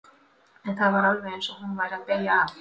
En það var alveg eins og hún væri að beygja af.